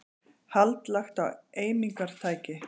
Hald lagt á eimingartæki